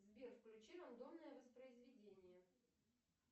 сбер включи рандомное воспроизведение